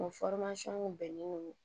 O bɛnnen don